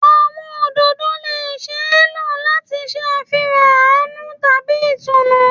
Awọn ododo le ṣee lo lati ṣe afihan aanu tabi itunu